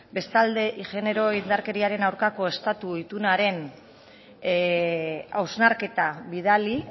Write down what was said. bestalde genero indarkeriaren aurkako estatu itunaren hausnarketa bidali